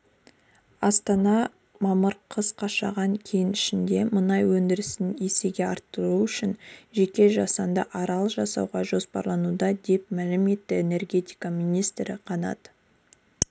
астана мамыр қаз қашаған кенішінде мұнай өндірісін есеге арттыру үшін жеке жасанды арал салу жоспарлануда деп мәлім етті энергетика министрі қанат